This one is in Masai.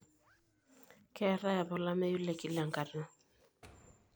keetae apa olameyu te kila enkata